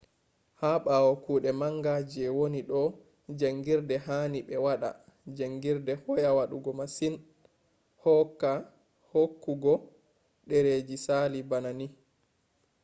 ha ɓawo kuɗe manga je woni do jaangirde hani ɓe waɗa jaangirde hoya woɗugo masin hooku go dareji sali bana ni